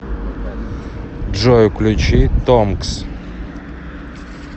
джой включи томкс